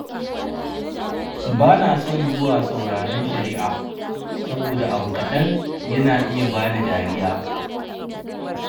Bana son zuwa sauraron shari'a, saboda abu kaɗan yana iya bani dariya.